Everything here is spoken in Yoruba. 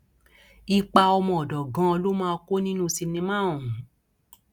ipa ọmọọdọ ganan ló máa kó nínú sinimá ọhún